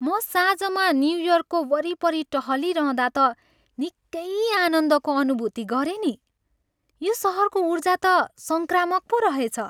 म साँझमा न्युयोर्कको वरिपरि टहलिरहँदा त निक्कै आनन्दको अनुभुति गरेँ नि। यो सहरको ऊर्जा त सङ्क्रामक पो रहेछ।